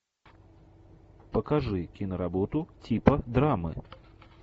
покажи киноработу типа драмы